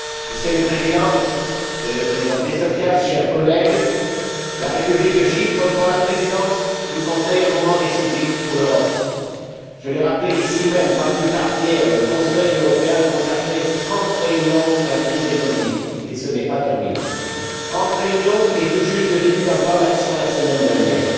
Monsieur le Président, Monsieur le Président Christofias, chers collègues, la République de Chypre prend la présidence du Conseil à un moment décisif pour l'Europe. Je l'ai rappelé ici même, pas plus tard qu'hier, le Conseil européen a consacré trente réunions à la crise économique, et ce n'est pas terminé. Trente réunions et tout juste le début d'un plan d'action la semaine dernière.